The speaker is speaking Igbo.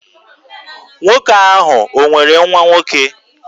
Nwoke ahụ o nwere nwa nwoke?